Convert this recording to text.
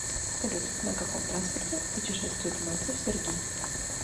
салют на каком транспорте путешествует мальцев сергей